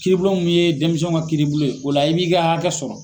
Kiiri bulon min ye denmisɛnw ka kiiri bulon yen, o la i b'i ka hakɛ sɔrɔ.